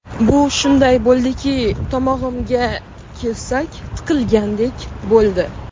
Bu shunday bo‘ldiki... Tomog‘imga kesak tiqilgandek bo‘ldi.